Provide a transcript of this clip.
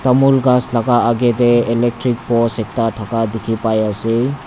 tamul ghas laka akae tae electric post ekta thaka dikhipaiase.